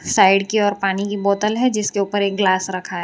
Side की ओर पानी की बोतल है जिसके ऊपर एक ग्लास रखा है।